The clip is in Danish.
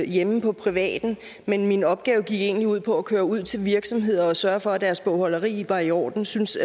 hjemme i privaten men min opgave gik egentlig ud på at køre ud til virksomheder og sørge for at deres bogholderi var i orden synes